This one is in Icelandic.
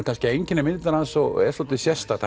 einkennir myndina hans og er dálítið sérstakt